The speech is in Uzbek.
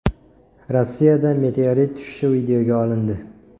Rossiyada meteorit tushishi videoga olindi .